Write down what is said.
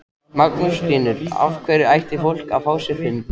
Magnús Hlynur: Af hverju ætti fólk að fá sér hund?